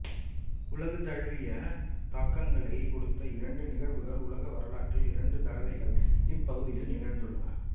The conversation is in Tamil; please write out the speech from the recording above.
உலகு தழுவிய தாக்கங்களைக் கொடுத்த இரண்டு நிகழ்வுகள் உலக வரலாற்றில் இரண்டு தடவைகள் இப்பகுதியில் நிகழ்ந்துள்ளன